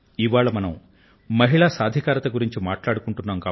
ఇవాళ మనం మహిళా సాధికారితను గురించి మాట్లాడుకుంటున్నాం